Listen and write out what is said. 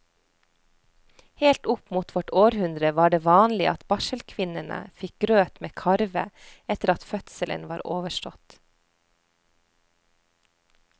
Helt opp mot vårt århundre var det vanlig at barselkvinnene fikk grøt med karve etter at fødselen var overstått.